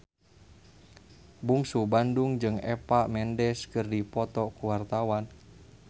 Bungsu Bandung jeung Eva Mendes keur dipoto ku wartawan